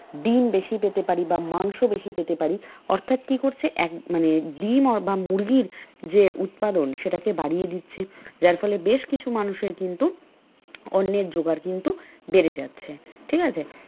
ডিম বেশি পেতে পারি বা মাংস বেশি পেতে পারি অর্থাৎ কি করছে মানে ডিম বা মুরগির যে উৎপাদন সেটাকে বাড়িয়ে দিচ্ছে যার ফলে বেশকিছু মানুষের কিন্তু অন্নের জোগাড় কিন্তু বেড়ে যাচ্ছে ঠিক আছে?